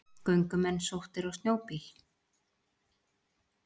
Göngumenn sóttir á snjóbíl